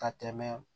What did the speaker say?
Ka tɛmɛ